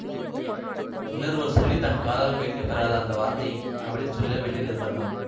இன்னொருவர் சொல்லித்தன் காதால் கேட்க பொறாத அந்த வார்த்தையை அவளே சொல்லவேண்டிய நிர்ப்பந்தம்